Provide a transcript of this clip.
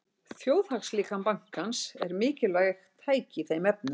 Þjóðhagslíkan bankans er mikilvægt tæki í þeim efnum.